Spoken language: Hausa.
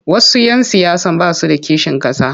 Wasu 'yan siyasar ba su da kishin ƙasa.